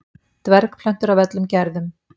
dvergplöntur af öllum gerðum